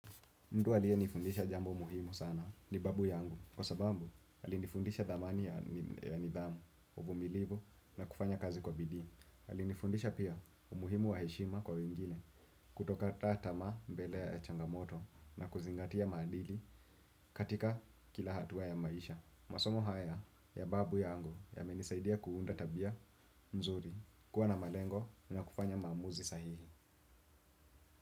Mtu aliye nifundisha jambo muhimu sana ni babu yangu kwa sababu alinifundisha dhamani ya nidhamu, uvumilivu na kufanya kazi kwa bidii. Alinifundisha pia umuhimu wa heshima kwa wengine kutokata tamaa mbele ya changamoto na kuzingatia maadili katika kila hatua ya maisha. Masomo haya ya babu yangu yamenisaidia kuunda tabia mzuri kuwa na malengo na kufanya maamuzi sahihi.